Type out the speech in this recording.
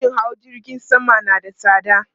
Farashin hawa jirgin sama na da tsada